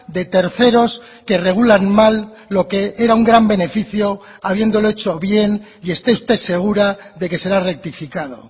de terceros que regulan mal lo que era un gran beneficio habiéndolo hecho bien y esté usted segura de que será rectificado